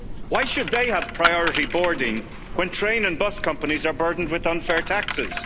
Why should they have priority boarding when train and bus companies are burdened with unfair